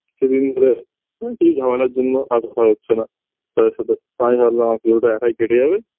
সেদিন ওদের আ কি ঝামেলার জন্য আসা হচ্ছেনা তাদের সাথে তা আমি ভাবলাম আমার পুজোটা একাই কেটে যাবে